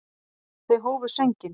Þau hófu sönginn.